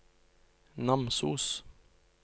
Namsos